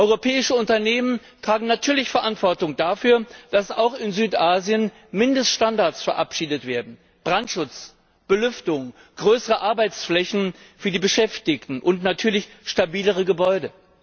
Europäische Unternehmen tragen natürlich Verantwortung dafür, dass auch in Südasien Mindeststandards verabschiedet werden Brandschutz, Belüftung, größere Arbeitsflächen für die Beschäftigten und natürlich stabilere Gebäude.